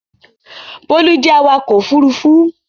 Bólú jẹ́ awakọ̀ ófurufú